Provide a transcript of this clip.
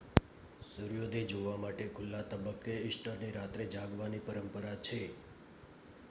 સૂર્યોદય જોવા માટે કોઈ ખુલ્લા તબક્કે ઈસ્ટરની રાત્રે જાગવાની પરંપરા છે